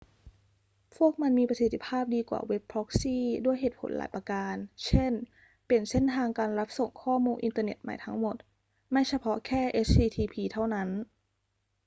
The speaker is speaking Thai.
พวกมันมีประสิทธิภาพดีกว่าเว็บพร็อกซี่ด้วยเหตุผลหลายประการ เช่น เปลี่ยนเส้นทางการรับส่งข้อมูลอินเทอร์ใหม่ทั้งหมด ไม่เฉพาะแค่ http เท่านั้น